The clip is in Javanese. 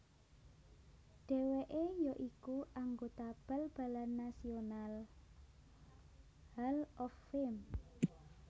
Dheweke ya iku anggota Bal balan Nasional Hall of Fame